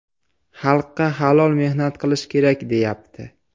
Xalqqa halol mehnat qilish kerak, deyapti.